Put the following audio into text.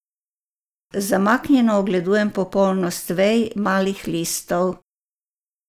Zamaknjeno ogledujem popolnost vej, malih listov.